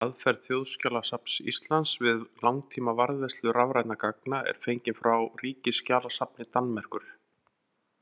Aðferð Þjóðskjalasafns Íslands við langtímavarðveislu rafrænna gagna er fengin frá Ríkisskjalasafni Danmerkur.